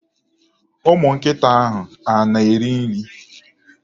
Ụmụnkịta ahụ a na-eri nri?